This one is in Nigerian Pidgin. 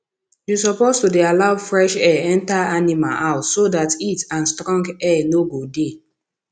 you suppose to dey allow fresh air enter animal house so dat heat and strong air no go dey